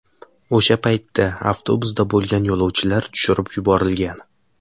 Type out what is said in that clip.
O‘sha paytda avtobusda bo‘lgan yo‘lovchilar tushirib yuborilgan.